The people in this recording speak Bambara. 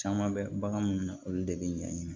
Caman bɛ bagan mun na olu de be ɲɛɲini